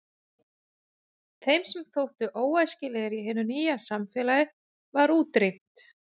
Þeim sem þóttu óæskilegir í hinu nýja samfélagi var útrýmt.